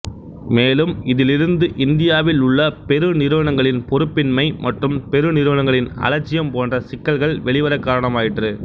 மேலும் இதிலிருந்து இந்தியாவில் உள்ள பெருநிறுவனங்களின் பொறுப்பின்மை மற்றும் பெருநிறுவனங்களின் அலட்சியம் போன்ற சிக்கல்கள் வெளிவரக் காரணமாயிற்று